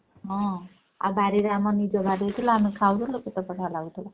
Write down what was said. ହଁ ଆଉ ବାଡିରେ ଆମର ନିଜ ବାଡିରେ ଥିଲା ଆମେ ଖାଉଥିଲୁ କେତେ ବଢିଆ ଲାଗୁଥିଲା।